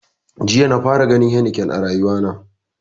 Jiya na fara ganin heineken a rayuwa na